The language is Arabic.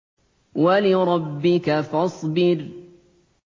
وَلِرَبِّكَ فَاصْبِرْ